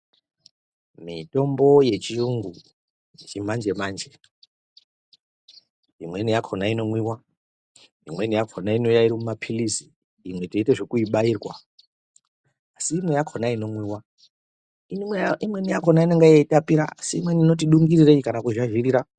Mitombo yechiyungu, yechimanje-manje imweni yakhona inomwiwa, imweni yakhona inouya iri mumapirizi, imwe tinoite zvekuibairwa, asi imwe yakhona inomwiwa, imweni yakhona inenge yeitapira asi imweni inoti dungirirei kana kuzhazhirira.